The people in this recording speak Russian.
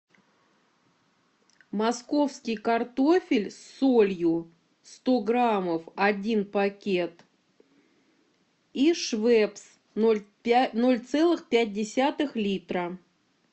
московский картофель с солью сто граммов один пакет и швепс ноль целых пять десятых литра